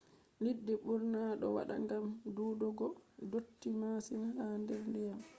liɗɗi ɓurna ɗo wata gam dudugo dotti masin ha der diyam